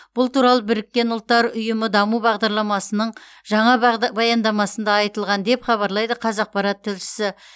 бұл туралы біріккен ұлттар ұйымы даму бағдарламасының жаңа баяндамасында айтылған деп хабарлайды қазақпарат тілшісі